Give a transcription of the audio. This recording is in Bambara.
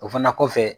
O fana kɔfɛ